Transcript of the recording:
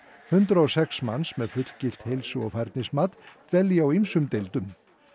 hundrað og sex manns með fullgilt heilsu og færnismat dvelji á ýmsum deildum